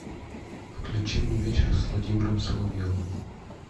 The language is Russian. включи мне вечер с владимиром соловьевым